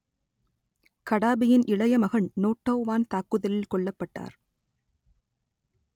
கடாபியின் இளைய மகன் நோட்டோ வான் தாக்குதலில் கொல்லப்பட்டார்